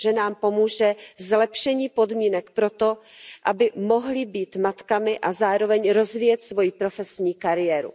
Ženám pomůže zlepšení podmínek pro to, aby mohly být matkami a zároveň rozvíjet svoji profesní kariéru.